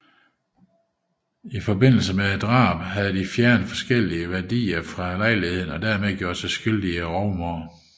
I forbindelse med drabet havde de fjernet forskellige værdigenstande fra lejligheden og derved gjort sig skyldige i rovmord